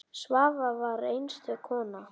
Svava var einstök kona.